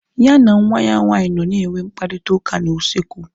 Ya na nwa ya nwaanyị nọ na enwe mkparịta ụka na usekwu